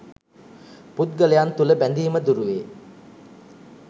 පුද්ගලයන් තුළ බැඳීම දුරුවේ.